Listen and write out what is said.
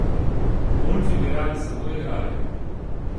Mulci bi radi samo igrali.